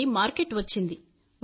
నుండి మార్కెట్ వచ్చింది